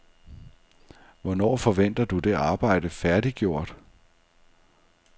Hvornår forventer du det arbejde færdiggjort?